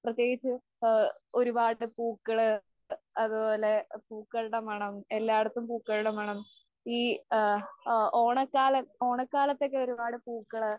പ്രതേകിച്ച് ആ ഒരുപാട് പൂക്കള്, അതുപോലെ പൂക്കളുടെ മണം എല്ലാ ഇടത്തും പൂക്കളുടെ മണം. ഈ ആ ആ ഓണക്കാല ഓണക്കാലത്തൊക്കെ ഒരുപാട് പൂക്കള്